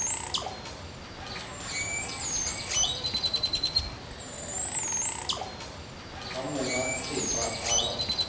ha monga thepa a rata